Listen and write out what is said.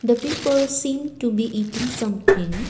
the people seem to be eating something.